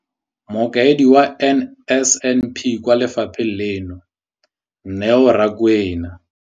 Mokaedi wa NSNP kwa lefapheng leno, Neo Rakwena.